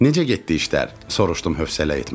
Necə getdi işlər, soruşdum hövsələ etmədən.